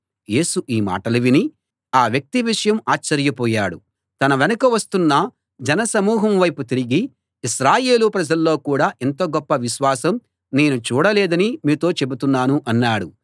యేసు ఈ మాటలు విని ఆ వ్యక్తి విషయం ఆశ్చర్య పోయాడు తన వెనక వస్తున్న జనసమూహం వైపు తిరిగి ఇశ్రాయేలు ప్రజల్లో కూడా ఇంత గొప్ప విశ్వాసం నేను చూడలేదని మీతో చెబుతున్నాను అన్నాడు